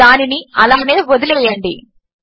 దానిని అలానే వదిలివేయండి